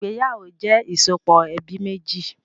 Ìgbéyàwó jẹ ìsopọ̀ ẹbí méjì